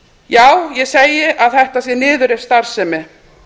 já ég segi að þetta sé niðurrifsstarfsemi